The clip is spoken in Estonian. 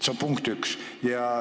See on punkt üks.